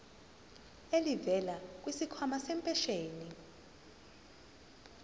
elivela kwisikhwama sempesheni